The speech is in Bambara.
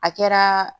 A kɛra